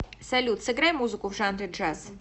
салют сыграй музыку в жанре джаз